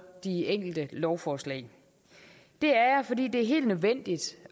de enkelte lovforslag det er jeg fordi det er helt nødvendigt